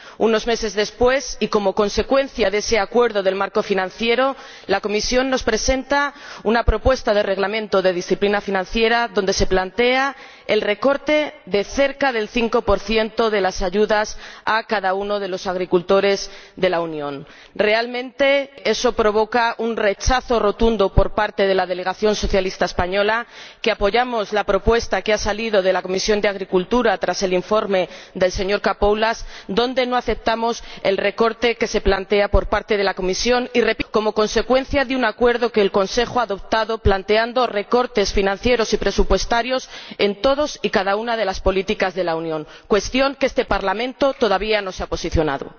Unos meses después, y como consecuencia de ese acuerdo del marco financiero, la Comisión nos presenta una propuesta de Reglamento de disciplina financiera en la que se plantea el recorte de cerca del 5 de las ayudas a cada uno de los agricultores de la Unión. Realmente eso provoca un rechazo rotundo por parte de la delegación socialista española, que apoya la propuesta que ha salido de la Comisión de Agricultura y Desarrollo Rural tras el informe del señor Capoulas, que no acepta el recorte que plantea la Comisión como consecuencia —repito— de un acuerdo que el Consejo ha adoptado planteando recortes financieros y presupuestarios en todas y cada una de las políticas de la Unión, cuestión sobre la cual este Parlamento todavía no se ha posicionado.